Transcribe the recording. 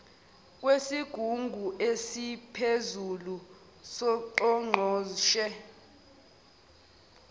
kwesigungu esiphezulu songqongqoshe